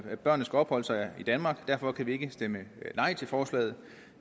at børnene skal opholde sig i danmark derfor kan vi ikke stemme nej til forslaget